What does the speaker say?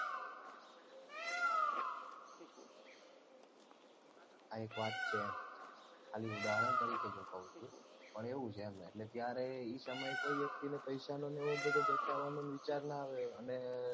આ એક વાત છે ખાલી ઉદાહરણ તરીકે મુ કૌ છુ પણ એવું છે એમ એટલે ત્યારે એ સમયે કોઈ વ્યક્તિને પૈસાનો ને એવો બધો બચાવાનો વિચાર ન આવ્યો